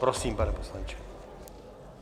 Prosím, pane poslanče.